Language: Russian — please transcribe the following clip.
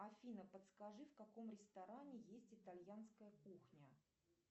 афина подскажи в каком ресторане есть итальянская кухня